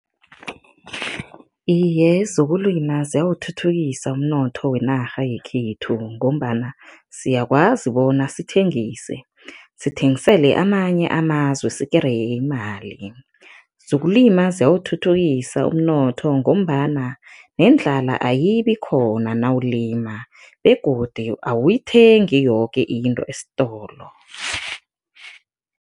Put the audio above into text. Iye, zokulima ziyawuthuthukisa umnotho wenarha yekhethu ngombana siyakwazi bona sithengise, sithengisele amanye amazwe, sikereye imali. Zokulima ziyawuthuthukisa umnotho ngombana nendlala ayibi khona nawulima begodu awuyithengi yoke into esitolo.